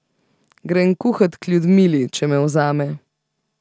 Grem kuhat k Ljudmili, če me vzame.